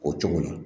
O cogo la